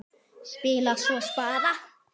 Spilaði svo spaða.